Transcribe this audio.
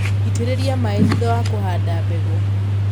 Itĩrĩria maĩ thutha wa kũhanda mbegũ.